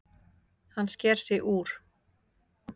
Hann sker sig úr.